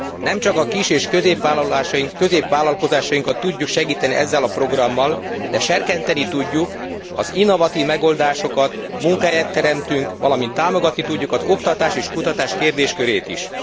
Nemcsak a kis és középvállalkozásainkat tudjuk segíteni ezzel a programmal, de serkenteni tudjuk az innovatív megoldásokat, munkahelyet teremtünk, valamint támogatni tudjuk az oktatás és kutatás kérdéskörét is.